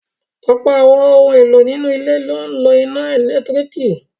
Ọ̀pọ̀ àwọn ohun-èlò nínú ilé ni ó ń lo iná ẹ̀lẹ́tíríkì.